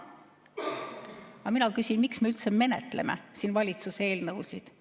Aga mina küsin, miks me üldse menetleme siin valitsuse eelnõusid.